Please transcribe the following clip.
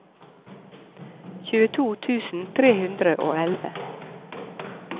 tjueto tusen tre hundre og elleve